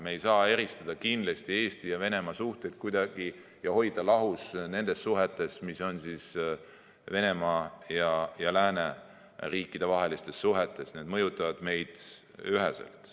Me ei saa kindlasti kuidagi eristada Eesti ja Venemaa suhteid ega hoida lahus nendest suhetest, mis on Venemaa ja lääneriikide vahel, need mõjutavad meid üheselt.